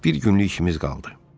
Bir günlük işimiz qaldı.